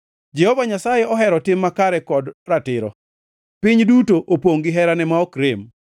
Jehova Nyasaye ohero tim makare kod ratiro; piny duto opongʼ gi herane ma ok rem.